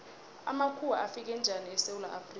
amakhuwa afika njani esewula afrika